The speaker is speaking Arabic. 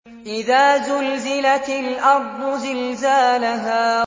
إِذَا زُلْزِلَتِ الْأَرْضُ زِلْزَالَهَا